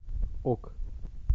ок